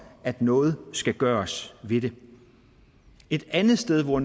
at noget skal der gøres ved det et andet sted hvor